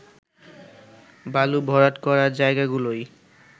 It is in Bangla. বালু ভরাট করা জায়গাগুলোই